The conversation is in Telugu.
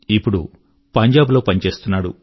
ఇప్పుడు పంజాబ్ లో పని చేస్తున్నాడు